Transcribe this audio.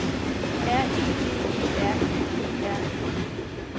R E D E R I E R N E